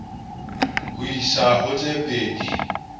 ho isa ho tse pedi